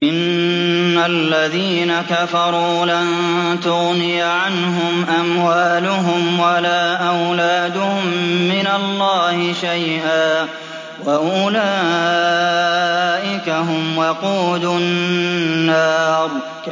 إِنَّ الَّذِينَ كَفَرُوا لَن تُغْنِيَ عَنْهُمْ أَمْوَالُهُمْ وَلَا أَوْلَادُهُم مِّنَ اللَّهِ شَيْئًا ۖ وَأُولَٰئِكَ هُمْ وَقُودُ النَّارِ